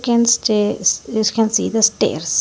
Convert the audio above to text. in stairs can see the stairs.